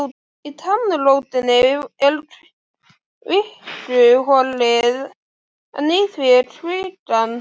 Í tannrótinni er kvikuholið en í því er kvikan.